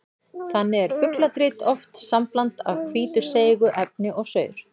Þannig er fugladrit oft sambland af hvítu seigu efni og saur.